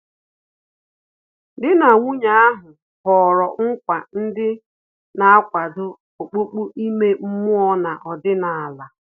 Dị na nwunye ahu họrọ nkwa ndị na-akwado okpukpe ime mmụọ na ọdịnala